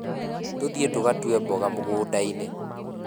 Tuthiĩ tũgatue mboga mũgũnda-inĩ